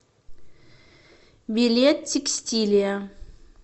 билет текстилия